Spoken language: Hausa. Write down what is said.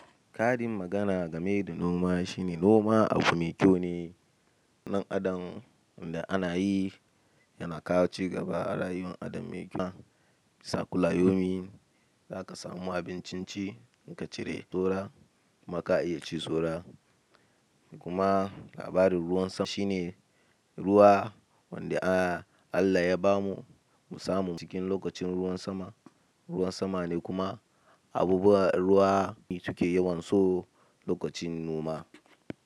Karin magana game da noma shine noma abu mai kyau ne. Nan adon wanda ana yi yana kawo cigaba a rayuwar ɗan adam mai kyau. Sa kulla yaumi za ka samu abincin ci in ka cire tura kuma ka iya ci sora. Kuma labarin ruwan sama shine ruwa wanda Allah ya ba mu musamman cikin lokacin ruwan sama. Ruwan sama ne kuma abubuwan ruwa ne muke yawan so lokacin noma.